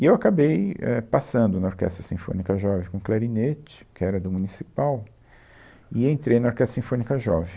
E eu acabei, é, passando na Orquestra Sinfônica Jovem com o clarinete, que era do Municipal, e entrei na Orquestra Sinfônica Jovem.